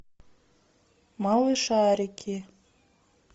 малышарики